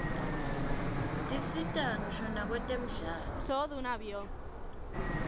tisita ngisho nakwetemidlalo